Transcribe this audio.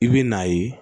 I bɛ n'a ye